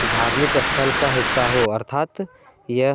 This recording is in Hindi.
धार्मिक स्थल का हिस्सा हो अर्थात यह--